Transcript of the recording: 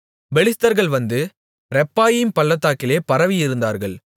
பெலிஸ்தர்கள் வந்து ரெப்பாயீம் பள்ளத்தாக்கிலே பரவியிருந்தார்கள்